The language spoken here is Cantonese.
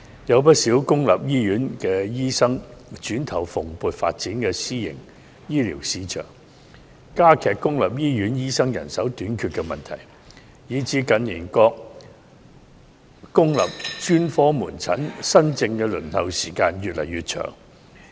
有不少公立醫院醫生轉投蓬勃發展的私營醫療市場，加劇公立醫院醫生人手短缺的問題，以致近年各公立專科門診新症的輪候時間越來越長。